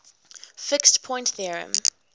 fixed point theorem